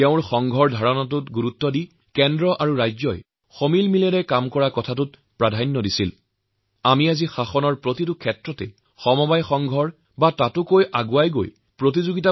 তেওঁ যুক্তৰাষ্ট্ৰীয়বাদ বা মৈত্ৰীতন্ত্ৰৰ গুৰুত্ব বুজিব পাৰিছিল আৰু সেয়েহে ভাবিছিল যে দেশৰ উন্নতিৰ বাবে কেন্দ্ৰ আৰু ৰাজ্যসমূহক একেলগে হাতে হাত মিলাই কাম কৰিব লাগিব